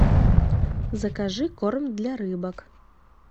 закажи корм для рыбок